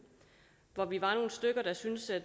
hvor vi var nogle stykker der syntes at